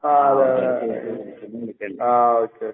ആഹ് അതെ അതെ, ആഹ് ഓക്കെ ഓക്കെ.